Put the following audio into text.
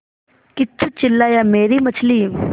किच्चू चिल्लाया मेरी मछली